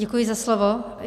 Děkuji za slovo.